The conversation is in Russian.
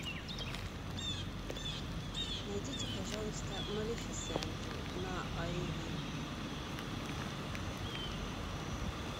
найдите пожалуйста малефисенту на иви